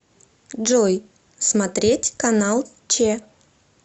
джой смотреть канал че